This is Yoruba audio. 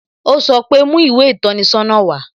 O sọ pe "Mú ìwé ìtọ́ni sọ́nà wá"